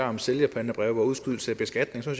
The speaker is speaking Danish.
om sælgerpantebreve og udskydelse af beskatning som